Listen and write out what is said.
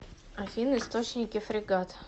афина источники фрегат